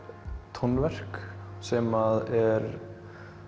tónverk sem er